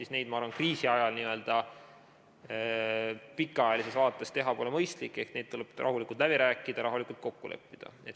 Seda, ma arvan, kriisi ajal n-ö pikaajalises vaates teha pole mõistlik, see tuleb rahulikult läbi rääkida, rahulikult kokku leppida.